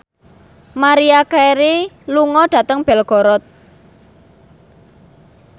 Maria Carey lunga dhateng Belgorod